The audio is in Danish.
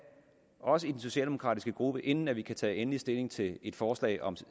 også i den socialdemokratiske gruppe inden vi kan tage endelig stilling til et forslag om